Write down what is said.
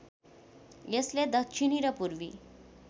यसले दक्षिणी र पूर्वी